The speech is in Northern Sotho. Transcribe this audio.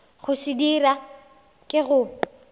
go se dira ke go